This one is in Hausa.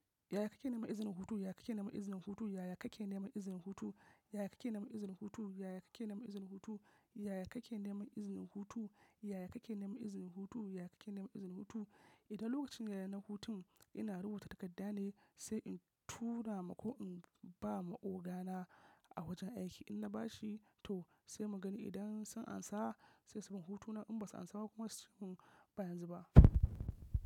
Yaya kake neman izinin hutu? Yaya kake neman izinin hutu? Yaya kake neman izinin hutu? Yaya kake neman izinin hutu? Yaya kake neman izinin hutu? Yaya kake neman izinin hutu? Yaya kake neman izinin hutu? Yaya kake neman izinin hutu? Idan lokacin yaye na hutun ina rubuta takarda ne sai in tura ma ko in ba ma ogana a wajen aiki. In na bashi to sai mu gani idan sun amsa sai su ban hutuna. In basu amsa ba kuma suce mun ba yanzu ba.